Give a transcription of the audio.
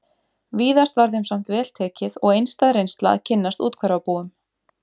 Víðast var þeim samt vel tekið og einstæð reynsla að kynnast úthverfabúum